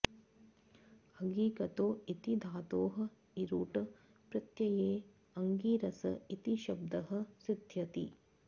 अगि गतौ इति धातोः इरुट् प्रत्यये अङ्गिरस् इति शब्दः सिद्ध्यति